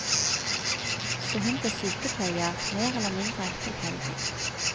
Så hun ble sykepleier, mer eller mindre tilfeldig.